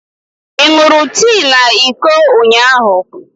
Ị ṅụrụ tii na iko ụnyahụ?